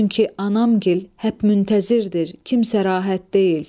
Çünki anamgil hələ müntəzirdir, kimsə rahat deyil.